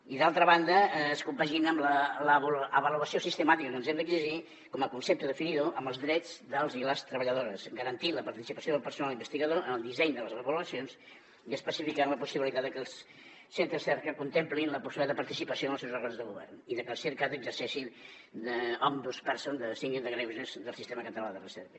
i d’altra banda es compagina amb l’avaluació sistemàtica que ens hem d’exigir com a concepte definidor amb els drets dels i les treballadores garantint la participació del personal investigador en el disseny de les avaluacions i especificant la possibilitat de que els centres cerca contemplin la possibilitat de participació en els seus òrgans de govern i de que el circat exerceixi d’de recerca